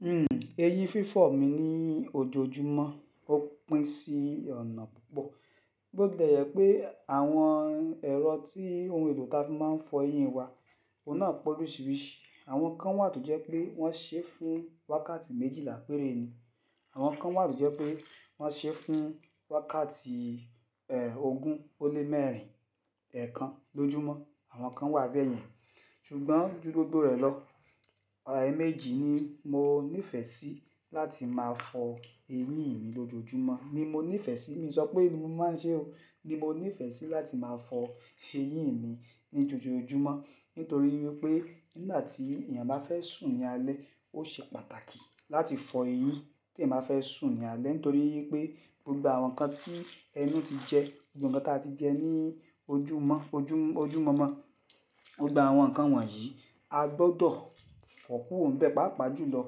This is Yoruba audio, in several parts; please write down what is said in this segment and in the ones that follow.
Hmm, eyín fífọ̀ mi ní ojoojúmọ́, ó pín sí ọ̀nà púpọ̀. Bó tilẹ̀ jẹ́ pé àwọn ẹ̀rọ tí ohun èlò ta fi máa ń fọ ẹyín wa, òun náà pe oríṣiríṣi. Àwọn kan wà tó jẹ́ pé wọ́n ṣé fún wákàtì méjìlá pére ni, àwọn kan wà tó jẹ́ pé wọ́n ṣé fún wákàtì, eh, ogún ó lé mẹ́rin, ẹẹ́kan lójúmọ́, àwọn kan wà bẹ́ẹ̀ yẹn. Ṣùgbọ́n jú gbogbo rẹ̀ lọ, àà ẹ méjì ni mo nífẹ̀ẹ́ sí láti máa fọ eyín mi lójoojúmọ́, ni mo nífẹ̀ẹ́ sí, mi ò sọ pé ni mo máa ń ṣe ó. Ni mo nífẹ̀ẹ́ sí láti máa fọ eyín mi ní ojoojúmọ́. Nítorí wípé nígbà tí èèyàn bá fẹ́ sùn ní alẹ́, ó ṣe pàtàkì láti fọ eyín tí èèyàn bá fẹ́ sùn ní alẹ́. Nítorí wípé gbogbo àwọn nǹkan tí ẹnú ti jẹ, gbogbo ǹkan tí a ti jẹ ní ojú mọ́ ojú mọ̀mọ́, gbogbo àwọn nǹkan wọ̀nyí a gbọdọ̀ fọ̀ kúrò ń bẹ́ẹ̀ pàápàá jùlọ.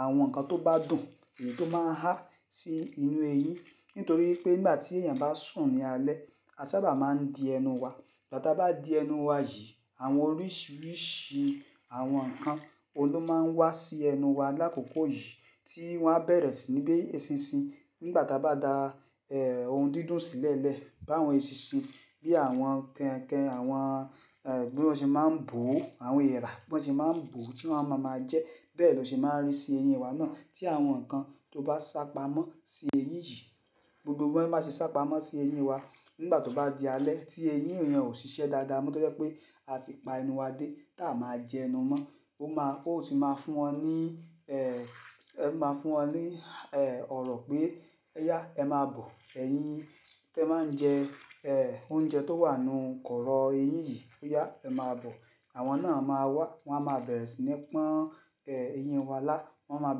Àwọn nǹkan tó bá dùn, èyí tó máa ń há sí inú ẹyín. Nítorí pé nígbà tí èèyàn bá sùn ní alẹ́, a sábà máa ń di ẹnu wa. Ìgbà tí a bá di ẹnu wa yìí, àwọn oríṣiríṣi àwọn nǹkan, òun ló máa ń wá sí ẹnu wa. Lákókò yìí tí wọ́n á bẹ̀rẹ̀ sí ní bí eṣinṣin, nígbà tí a bá da, eh, ohun dídùn sílẹ̀ẹ́lẹ̀, bí àwọn eṣinṣin bí àwọn kẹ́nkẹ́n, àwọn, eh, bí wọ́n ṣe máa ń bò, àwọn ẹ̀rà bí wọ́n ṣe máa ń bò, tí wọ́n a máa máa jẹ́. Bẹ́ẹ̀ ló ṣe máa ń rí sí eyín wa náà. Tí àwọn nǹkan tó bá sápamọ́ sí ẹyín yìí, gbogbo ohun tí wọ́n bá ti sápamọ́ sí ẹyín wa, nígbà tó bá di alẹ́, tí eyín èèyàn ò ṣiṣẹ́ dáadáa mọ́, tó jẹ́ pé a ti pa ẹnu wa dé táà máa jẹ ẹnu mọ́. Ó máa, ó ti máa fún wọn ní, eh, ó máa fún wọn ní, eh, ọ̀rọ̀ pé "oyá, ẹ máa bọ̀ ẹ̀yín tí ẹ máa ń jẹ, eh, oúnjẹ tó wà ní kọ̀rọ̀ eyín yìí. Oyá ẹ máa bọ̀." Àwọn náà máa wá, wọ́n á máa bẹ̀rẹ̀ sí ní pọn, eh, ẹyín wa lá. Wọ́n á máa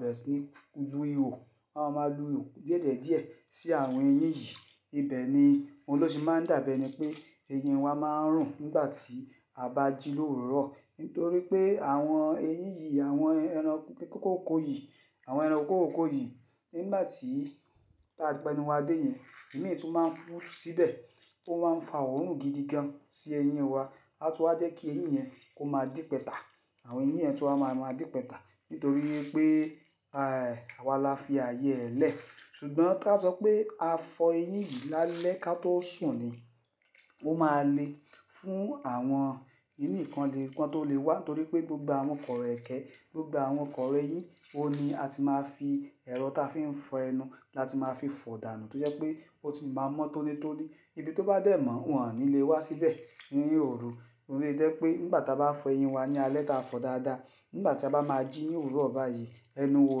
bẹ̀rẹ̀ sí ní lu ihò, wọ́n á máa lú ihò díẹ̀díẹ̀ sí àwọn eyín yìí. Ìbẹ̀ ni, òun ló ṣe máa ń dàbí ẹni pé eyín wa máa ń rùn nígbà tí a bá jí láàrọ̀. Nítorí pé àwọn eyín yìí, àwọn ẹran kókókó yìí, àwọn ẹran kókókó yìí, nígbà tí táa pa ẹnu wa dé yẹn, ìmíì tún máa ń kú síbẹ̀, ó máa ń fa òórùn gidi gan-an sí eyín wa. Á tú á jẹ́ kí ẹyín yẹn kó máa dípẹ́ta. Àwọn eyín yẹn tú wa máa máa dípẹ́ta. Nítorí pé, eh, àwà lá fi ayé ẹ lẹ́. Ṣùgbọ́n kí a sọ pé a fọ ẹyín yìí lálẹ́ ká tó sùn ni. Ó máa lè fún àwọn kinní yì kan lè kan tó lè wá. Nítorí pé gbogbo àwọn kọ̀rọ̀ ẹ̀kẹ́, gbogbo àwọn kọ̀rọ̀ eyín, òun ni a ti máa fi ẹ̀rọ ta fi ń fọ ẹnu láti máa fi fọ̀dànú. Nítorí pé ó ti máa mọ́ tónítóní, ibi tó bá dẹ̀ mọ́, wọn ò ní lè wá síbẹ̀ ní òru. Òun ló ṣe jẹ́ pé nígbà tí a bá fọ eyín wa ní alẹ́ tí a fọ̀ dáadáa, nígbà tí a bá máa jí ní òwúrọ̀ bàáyì, ẹnu wa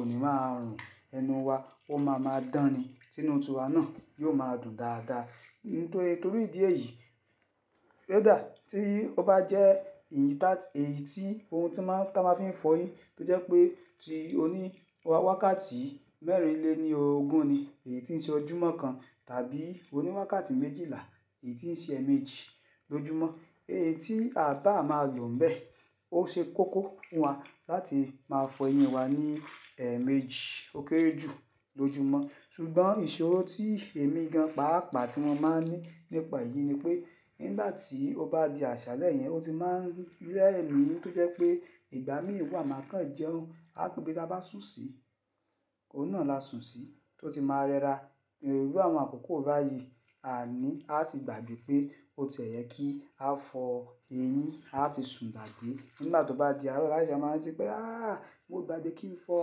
ò ní máa rùn. Ẹnu wa ó máa máa dán ni. Tínú ti awà náà yóò máa dùn dáadáa. Torí ìdí èyí, kódà tí ó bá jẹ́ èyí tí, ohun tí má, tá máa fi ń fọ eyín, tó jẹ́ pé ti oní wákàtì mẹ́rìnlé ní ogún ni, èyí tí ń ṣe ojúmọ́ kan tàbí oní wákàtì méjìlá, èyí tí ń ṣe ẹ̀mèjì lójúmọ́. Èyí tí à bá máa lò ń bẹ́ẹ̀, ó ṣe kókó fún wa láti máa fọ eyín wa ní, ẹ̀mejì ó kéré jù lójúmọ́. Ṣùgbọ́n ìṣòro tí èmi gan pàápà tí mo máa ń ní nípa eyìí ni pé, nígbà tí ó bá di àṣálẹ̀ yẹn, ó ti máa ń rẹ mi. Tó jẹ́ pé ìgbà mìn wa máa kàn jẹun, ibá t'a bá sùn sí, òun náà lá sùn sí, tó ti máa rẹ́ra. Irú àwọn àkókò báyìí à ní á ti gbàgbẹ́ pé ó ti ẹ̀ yẹ kí a fọ eyín, á ti sùn gbàgbẹ́. Nígbà tó bá di àárọ̀, á ṣẹ̀ṣẹ̀ máa rántí pé "áà, mo gbàgbẹ́ kí ń fọ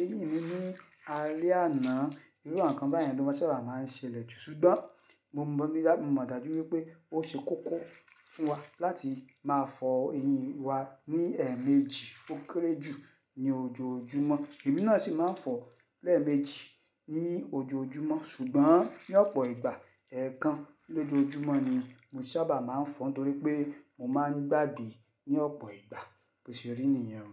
eyín mi ní alẹ́ àná." irú àwọn nǹkan bẹ́ẹ̀ yẹn ló máa sábà máa ń ṣe'lẹ̀ jù. Ṣùgbọ́n mo mọ̀ ní, mo mọ̀ dàjú pé ó ṣe kókó fún wa láti máa fọ eyín wa ní ẹ̀ẹ̀méjì ó kéré jù ní ojoojúmọ́. Èmí náà ṣì máa ń fọ lẹ́ẹ̀méjì ní ojoojúmọ́. Ṣùgbọ́n ní ọ̀pọ̀ ìgbà, ẹẹ́kan lójúmọ́ ni mo ṣábà máa ń fọ. Nítorí pé mo máa ń gbàgbẹ́ ní ọ̀pọ̀ ìgbà, bó ṣe rí nìyẹn o.